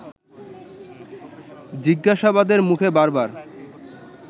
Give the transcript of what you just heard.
জিজ্ঞাসাবাদের মুখে বার বার